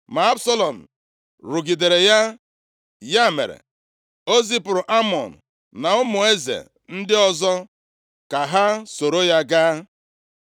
Ma Absalọm rụgidere ya, ya mere o zipụrụ Amnọn na ụmụ eze ndị ọzọ ka ha soro ya gaa.